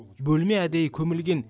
бөлме әдейі көмілген